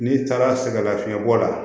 N'i taara sɛgɛn lafiɲɛbɔ la